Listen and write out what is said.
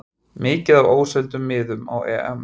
Mikið af óseldum miðum á EM